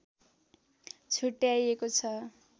छुट्याइएको छ